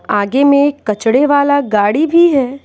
आगे में एक कचड़े वाला गाड़ी भी है।